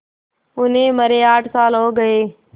उन्हें मरे आठ साल हो गए